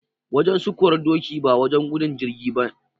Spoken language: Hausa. Wajen sukuwar doki ba wajen gudun jirgi ba.